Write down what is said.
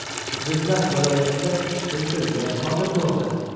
Jizzax viloyatida kuchsiz zilzila sodir bo‘ldi.